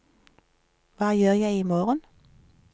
hva gjør jeg imorgen